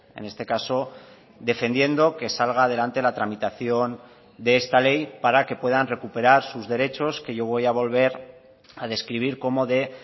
en este caso defendiendo que salga adelante la tramitación de esta ley para que puedan recuperar sus derechos que yo voy a volver a describir como de